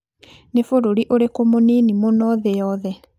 Nĩ bũrũri ũrĩkũ mũnini mũno thĩ yothe?